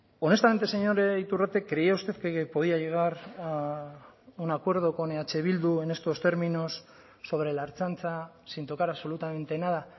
honestamente señor iturrate creía usted que podía llegar a un acuerdo con eh bildu en estos términos sobre la ertzaintza sin tocar absolutamente nada